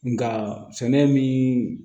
Nga sɛnɛ min